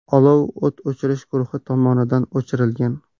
Olov o‘t o‘chirish guruhi tomonidan o‘chirilgan.